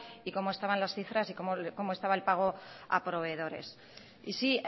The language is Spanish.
y cómo estaban las cifras y cómo estaba el pago a proveedores y sí